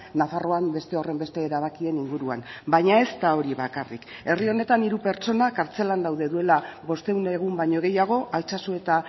nafarroan beste horrenbeste erabakien inguruan baina ez da hori bakarrik herri honetan hiru pertsona kartzelan daude duela bostehun egun baino gehiago altsasu eta